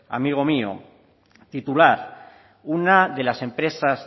amigo mío titular una de las empresas